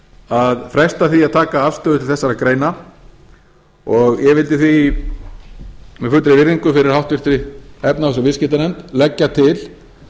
að fresta því að taka afstöðu til þessara greina ég vildi því með fullri virðingu fyrir háttvirta efnahags og viðskiptanefnd leggja til